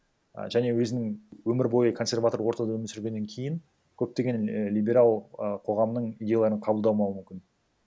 і және өзінің өмір бойы консерватор ортада өмір сүргеннен кейін көптеген і либерал ы қоғамның идеяларын қабылдамау мүмкін